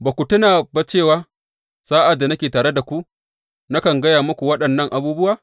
Ba ku tuna ba cewa sa’ad da nake tare da ku nakan gaya muku waɗannan abubuwa?